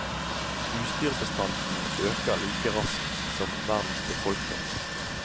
Husdyrbestanden øker like raskt som verdens befolkning.